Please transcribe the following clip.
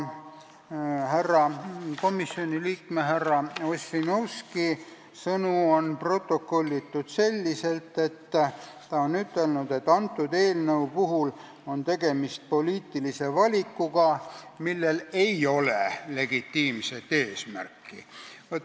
Komisjoni liikme härra Ossinovski sõnad on protokollitud selliselt, et selle eelnõu puhul on tegemist poliitilise valikuga, millel ei ole legitiimset eesmärki.